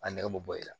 A nɛgɛ be bɔ i la